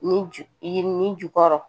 Ni ju yirini ju kɔrɔ